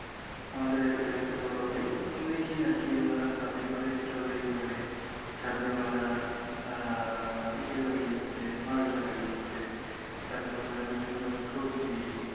আমাদের এক এলাকার বড় ভাই উনি আর কি উনারা ছাদে করে স্ট্রবেরি করে ছাদে উনারা এর ইয়ে লাগিয়েছে মালটা লাগিয়েছে তারপর উনারা বিভিন্ন রকম সবজি